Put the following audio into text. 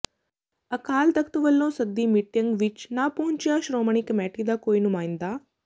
ਅਕਾਲ ਤਖ਼ਤ ਵੱਲੋਂ ਸੱਦੀ ਮੀਟਿੰਗ ਵਿੱਚ ਨਾ ਪਹੁੰਚਿਆ ਸ਼੍ਰੋਮਣੀ ਕਮੇਟੀ ਦਾ ਕੋਈ ਨੁਮਾਇੰਦਾ